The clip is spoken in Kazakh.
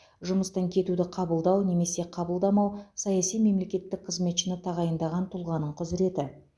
жұмыстан кетуді қабылдау немесе қабылдамау саяси мемлекеттік қызметшіні тағайындаған тұлғаның құзіреті